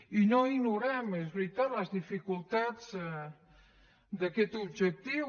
i no ignorem és veritat les dificultats d’aquest objectiu